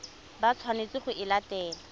ba tshwanetseng go e latela